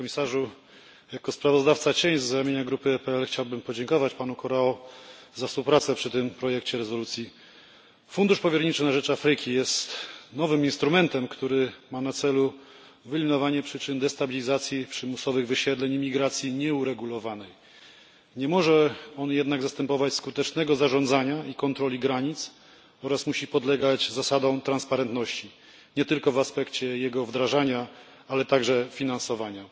Panie Komisarzu! Jako kontrsprawozdawca z ramienia grupy EPL chciałbym podziękować panu Corrao za współpracę przy tym projekcie rezolucji. Fundusz powierniczy na rzecz Afryki jest nowym instrumentem, który ma na celu wyeliminowanie przyczyn destabilizacji przymusowych wysiedleń i imigracji nieuregulowanej. Nie może on jednak zastępować skutecznego zarządzania i kontroli granic oraz musi podlegać zasadom transparentności nie tylko w aspekcie jego wdrażania, ale także finansowania.